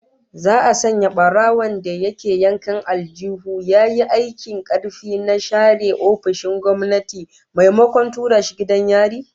Za'a sanya barawon da ke yankan aljihun yayi aikin karfi na share ofisoshin gwamnati maimakon tura shi gidan yari